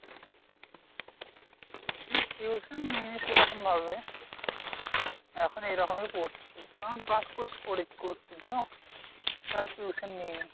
না tuition নিই নাই সেরকমভাবে। এখন এইরকমেই পড়ছি। এখন class ক্লুস করে করছি তো আর tuition নেইনি।